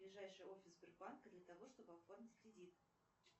ближайший офис сбербанка для того чтобы оформить кредит